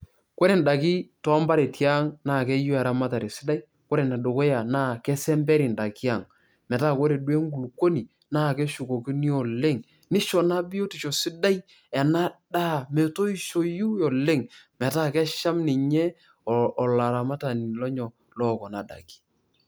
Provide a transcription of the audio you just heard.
Ore indaiki too impareti aang' naa keyou eramatare sidai. Ore ene dukuya naa kesemperi indaiki aang',etaa koree duo enkulukuoni naa keshukokino oleng', neisho naa biotisho sidai ena daa metoishoi oleng' metaa kesham ninye olaramatani onyok loo Kuna daiki.